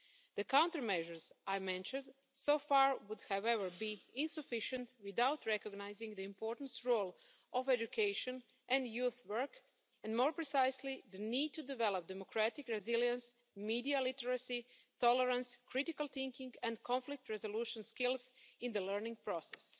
The countermeasures I have mentioned so far would, however, be insufficient without recognising the important role of education and youth work, and, more precisely, the need to develop democratic resilience, media literacy, tolerance, critical thinking and conflict resolution skills in the learning process.